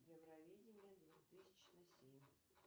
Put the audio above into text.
евровидение две тысячи семь